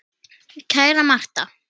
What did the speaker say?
Kæra Martha.